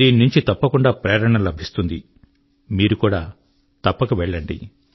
దీన్నుంచి తప్పకుండా ప్రేరణ లభిస్తుందిమీరు కూడా తప్పక వెళ్ళండి